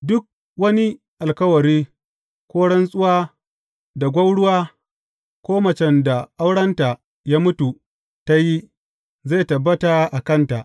Duk wani alkawari ko rantsuwar da gwauruwa, ko macen da aurenta ya mutu, ta yi, zai tabbata a kanta.